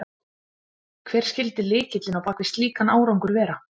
Hver skyldi lykillinn á bak við slíkan árangur vera?